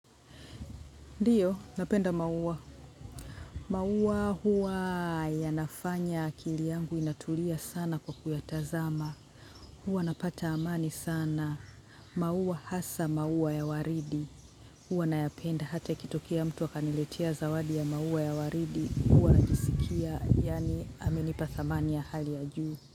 Ndiyo, napenda maua. Maua huwa yanafanya akili yangu inatulia sana kwa kuyatazama. Huwa napata amani sana. Maua hasa maua ya waridi. Huwa nayapenda hata ikitokea mtu akaniletia zawadi ya maua ya waridi. Huwa najisikia yaani amenipa thamani ya hali ya juu.